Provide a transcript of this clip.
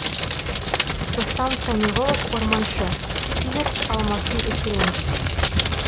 рустам самиғұлов орманшы сиверс алмасын өсіреміз